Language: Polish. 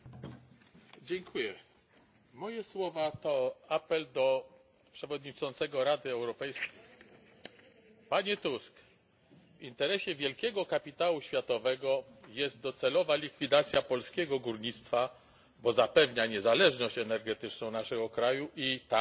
Panie Przewodniczący! Moje słowa to apel do przewodniczącego Rady Europejskiej. Panie Tusk! W interesie wielkiego kapitału światowego jest docelowa likwidacja polskiego górnictwa, bo zapewnia niezależność energetyczną naszego kraju i tanią